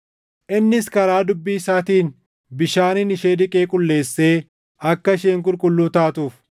innis karaa dubbii isaatiin bishaaniin ishee dhiqee qulleessee akka isheen qulqulluu taatuuf,